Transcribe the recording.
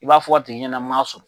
I b'a fɔ a tigi ɲɛna n m'a sɔrɔ.